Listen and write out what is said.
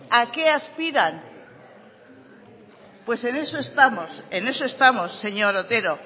a qué aspiran pues en eso estamos en eso estamos señor otero